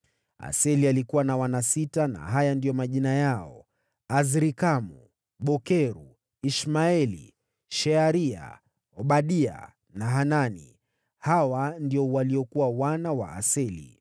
Aseli alikuwa na wana sita, na haya ndiyo majina yao: Azrikamu, Bokeru, Ishmaeli, Shearia, Obadia na Hanani. Hawa ndio waliokuwa wana wa Aseli.